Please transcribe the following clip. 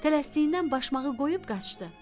Tələsdiyindən başmağı qoyub qaçdı.